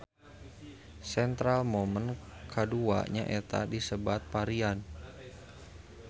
Central momen kadua nyaeta disebat varian